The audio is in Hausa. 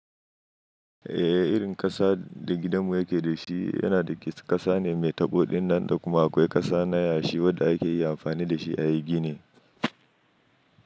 Eh, irin ƙasa da gidanmu yake da shi yana dake ƙasa ne mai taɓo ɗin nan da kuma akwai ƙasa na yashi wadda ake iya amfani da shi a yi gini.